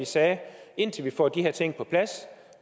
sagde at indtil vi får de her ting på plads